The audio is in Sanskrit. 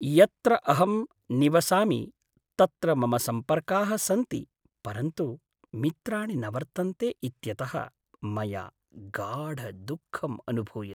यत्र अहं निवसामि तत्र मम सम्पर्काः सन्ति, परन्तु मित्राणि न वर्तन्ते इत्यतः मया गाढदुःखम् अनुभूयते।